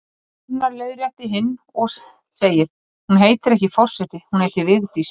Annar leiðréttir hinn og segir: Hún heitir ekki forseti, hún heitir Vigdís